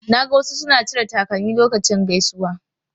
Na ga wasu suna cire takalmi lokacin gaisuwa.